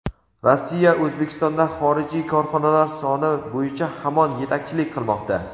Rossiya O‘zbekistonda xorijiy korxonalar soni bo‘yicha hamon yetakchilik qilmoqda.